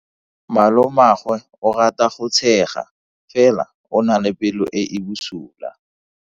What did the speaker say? Malomagwe o rata go tshega fela o na le pelo e e bosula.